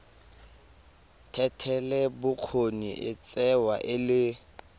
thetelelobokgoni e tsewa e le